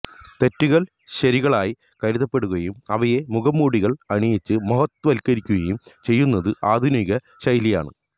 തെറ്റുകൾ ശരികളായി കരുതപ്പെടുകയും അവയെ മുഖംമൂടികൾ അണിയിച്ച് മഹത്വവല്ക്കരിക്കുകയും ചെയ്യുന്നത് ആധുനിക ശൈലിയാണ്